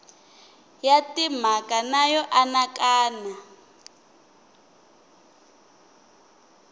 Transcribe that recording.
ya timhaka na yo anakanya